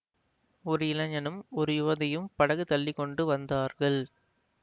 ஒரு இளைஞனும் ஒரு யுவதியும் படகு தள்ளி கொண்டு வந்தார்கள்